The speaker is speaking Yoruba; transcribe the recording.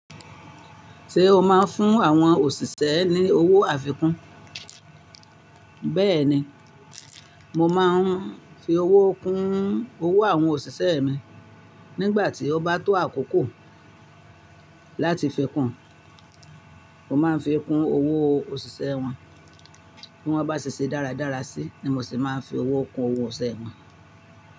Ṣé o máa ń fún àwọn òṣìṣẹ́ ní owó àfikún? Bẹ́ẹ̀ni, mo máa ń fi owó kún owó àwọn òṣìṣẹ́ mi. Nígbà tí ó bá tó àkókò láti fi kún, mo máa ń fi kún owó òṣìṣẹ́ wọn. Bí wọ́n bá ṣe ṣe dáradára sí, ni mo se máa ń fi owó kún owó isẹ́ wọn.